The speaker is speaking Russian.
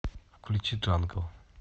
включи джангл